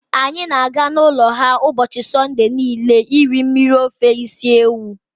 Anyị na-aga n'ụlọ ha ụbọchị Sọnde niile iri mmiri ofe isi ewu.